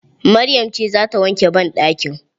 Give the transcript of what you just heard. Maryam ce zata wanke banɗakin